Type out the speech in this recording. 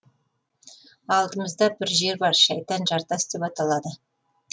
алдымызда бір жер бар шайтан жартас деп аталады